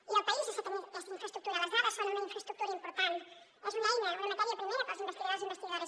i el país necessita tenir aquesta infraestructura les dades són una infraestructura important és una eina una matèria primera per als investigadors i investigadores